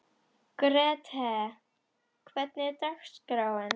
Grethe, hvernig er dagskráin?